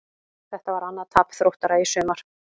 Þetta var annað tap Þróttara í sumar.